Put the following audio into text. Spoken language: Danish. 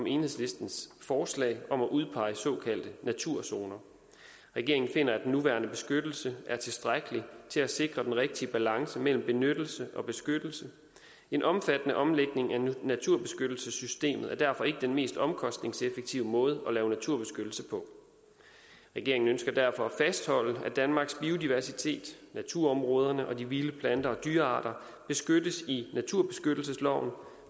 enhedslistens forslag om at udpege såkaldte naturzoner regeringen finder at den nuværende beskyttelse er tilstrækkelig til at sikre den rigtige balance mellem benyttelse og beskyttelse en omfattende omlægning af naturbeskyttelsessystemet er derfor ikke den mest omkostningseffektive måde at lave naturbeskyttelse på regeringen ønsker derfor at fastholde at danmarks biodiversitet naturområderne og de vilde plante og dyrearter beskyttes i naturbeskyttelsesloven